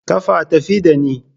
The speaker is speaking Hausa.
Kafa tafi ɗani.